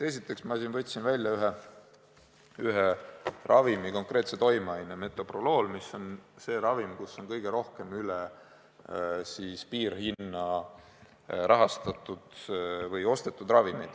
Esiteks, ma võtsin välja ühe ravimi, konkreetse toimeainega metoprolool, mis on see ravim, kus on kõige rohkem üle piirhinna rahastatud või ostetud ravimeid.